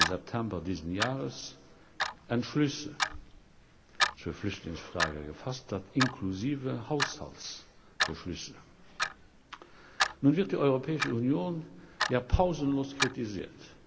23. September dieses Jahres Beschlüsse zur Flüchtlingsfrage gefasst hat, inklusive Haushaltsbeschlüssen. Nun wird die Europäische Union ja pausenlos kritisiert.